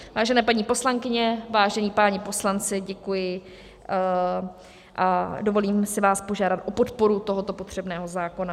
Vážené paní poslankyně, vážení páni poslanci, děkuji a dovolím si vás požádat o podporu tohoto potřebného zákona.